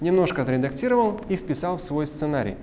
немножко отредактировал и вписал в свой сценарий